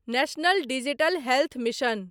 national digital health mission